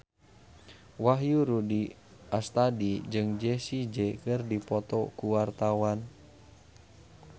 Wahyu Rudi Astadi jeung Jessie J keur dipoto ku wartawan